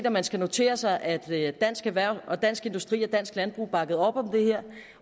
at man skal notere sig at dansk erhverv dansk industri og dansk landbrug bakkede op